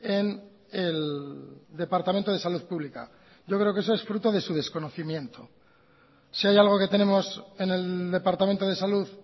en el departamento de salud pública yo creo que eso es fruto de su desconocimiento si hay algoque tenemos en el departamento de salud